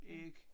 Æg